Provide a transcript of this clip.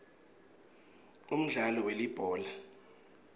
umdlalo welibhola